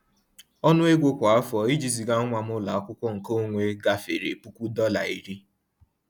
Ọnụ ego kwa afọ iji ziga nwa m ụlọ akwụkwọ nke onwe gafere puku dọla iri ($10,000)